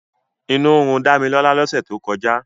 Inú ń run Dámilọ́lá lọ́sẹ̀ tó kọjá.